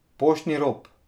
Poštni rop.